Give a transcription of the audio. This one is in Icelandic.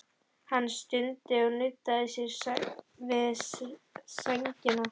Hann stundi og nuddaði sér við sængina.